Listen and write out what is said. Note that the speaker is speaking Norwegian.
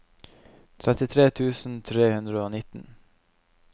trettitre tusen tre hundre og nitten